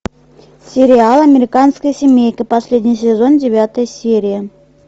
сериал американская семейка последний сезон девятая серия